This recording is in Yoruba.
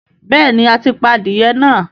béèni a tí pá adìye náa.